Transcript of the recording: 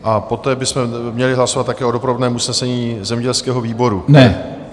A poté bychom měli hlasovat také o doprovodném usnesení zemědělského výboru.